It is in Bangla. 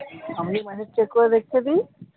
আমি মানে check করে দেখতেছি।